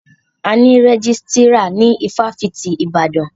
A ní rẹ́jísítírà ní ifáfitì Ibadan.